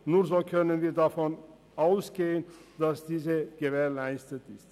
Nur so können wir davon ausgehen, dass diese gewährleistet ist.